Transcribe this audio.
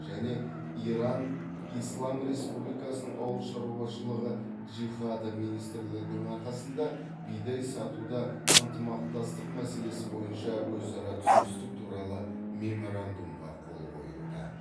және иран ислам республикасының аулы шаруашылығы джихады министрлігінің арасында бидай сатуда ынтымақтастық мәселесі бойынша өзара түсіністік туралы меморандумға қол қойылды